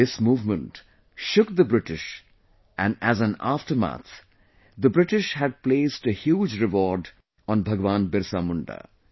This movement shook the British and as an aftermath the British had placed a huge reward on Bhagwan Birsa Munda